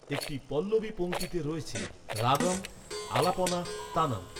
একটি পল্লবী পংক্তিতে রয়েছে রাগম, আলাপনা, তানম।